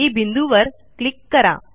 Eबिंदूवर click करा